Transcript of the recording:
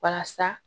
Walasa